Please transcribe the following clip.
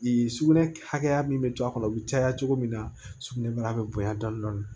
sugunɛ hakɛya min bi to a kɔnɔ bi caya cogo min na sugunɛbara be bonya dɔɔnin dɔɔnin